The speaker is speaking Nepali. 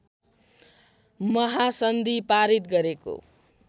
महासन्धि पारित गरेको